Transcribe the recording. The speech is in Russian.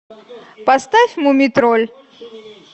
поставь мумий тролль